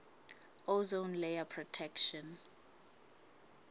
ozone layer protection